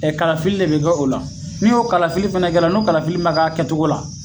Ɛ kalafili de be kɛ o la n'i y'o kalafili fɛnɛ kɛra n'o kalafili ma kɛ a kɛ togo la